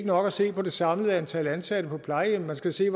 nok at se på det samlede antal ansatte på plejehjemmene man skal se